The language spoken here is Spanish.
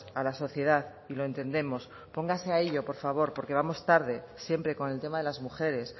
a la sociedad y lo entendemos póngase a ello por favor porque vamos tarde siempre con el tema de las mujeres